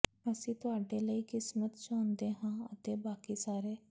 ਅਸੀਂ ਤੁਹਾਡੇ ਲਈ ਕਿਸਮਤ ਚਾਹੁੰਦੇ ਹਾਂ ਅਤੇ ਬਾਕੀ ਸਾਰੇ